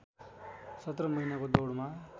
सत्र महिनाको दौडमा